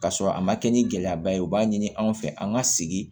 Ka sɔrɔ a ma kɛ ni gɛlɛyaba ye u b'a ɲini an fɛ an ŋa sigi